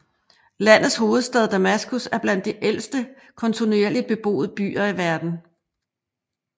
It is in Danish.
Landets hovedstad Damaskus er blandt de ældste kontinuerligt beboede byer i verden